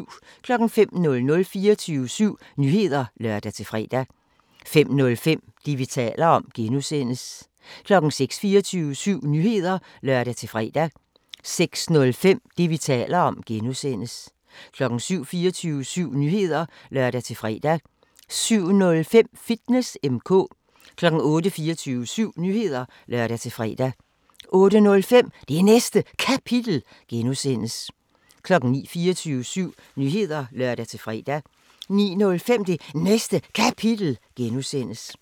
05:00: 24syv Nyheder (lør-fre) 05:05: Det, vi taler om (G) 06:00: 24syv Nyheder (lør-fre) 06:05: Det, vi taler om (G) 07:00: 24syv Nyheder (lør-fre) 07:05: Fitness M/K 08:00: 24syv Nyheder (lør-fre) 08:05: Det Næste Kapitel (G) 09:00: 24syv Nyheder (lør-fre) 09:05: Det Næste Kapitel (G)